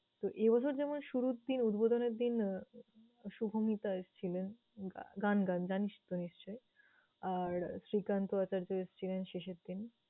তো এই বছর যেমন শুরুর দিন উদ্বোধনের দিন আহ শুভমিতা এসছিলেন। গা~ গান গান। জানিস তো নিশ্চয়? আর শ্রীকান্ত আচার্য এসছিলেন শেষের দিন।